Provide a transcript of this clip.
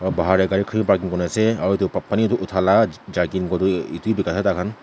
bahar dae gari khan parking kurina ase aro etu pani tuh uthala jerking kwa tuh etu bhi bekai ase thaikhan.